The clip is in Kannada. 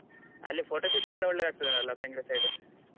ಅಲ್ಲಿ photo shoot ಗೆಲ್ಲ ಒಳ್ಳೇದ್ ಆಗ್ತದಲ್ಲ ಬೆಂಗ್ರೆ side ?